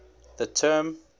the term